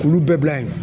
K'olu bɛɛ bila yen